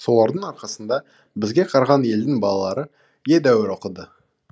солардың арқасында бізге қараған елдің балалары едәуір оқыды